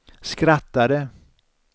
skrattade